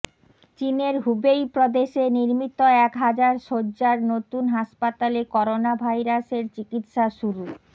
চীনের হুবেই প্রদেশে নির্মিত এক হাজার সজ্জার নতুন হাসপাতালে করোনা ভাইরাসের চিকিৎসা শুরু